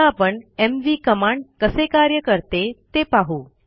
आता आपण M V command कसे कार्य करते ते पाहू